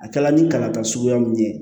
A kɛla ni kalan ka suguya mun ye